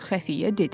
Xəfiyyə dedi.